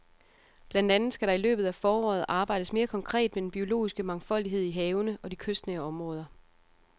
Blandt andet skal der i løbet af foråret arbejdes mere konkret med den biologiske mangfoldighed i havene og i de kystnære områder.